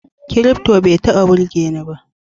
Kirifto bai taba burgeni ba